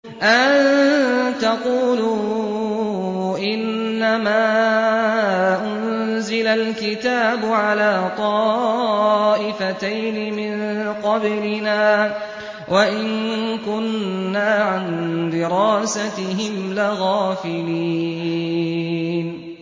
أَن تَقُولُوا إِنَّمَا أُنزِلَ الْكِتَابُ عَلَىٰ طَائِفَتَيْنِ مِن قَبْلِنَا وَإِن كُنَّا عَن دِرَاسَتِهِمْ لَغَافِلِينَ